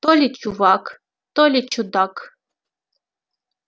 то ли чувак то ли чудак